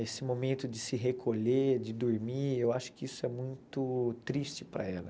Esse momento de se recolher, de dormir, eu acho que isso é muito triste para ela.